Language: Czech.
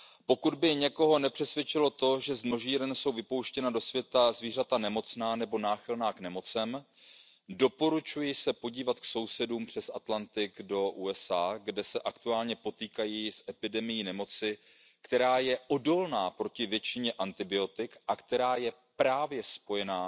Pokud by někoho nepřesvědčilo to, že z množíren jsou vypouštěna do světa zvířata nemocná nebo náchylná k nemocem, doporučuji se podívat k sousedům přes Atlantik do USA, kde se aktuálně potýkají s epidemií nemoci, která je odolná proti většině antibiotik a která je právě